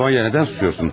Sonya nədən susursun?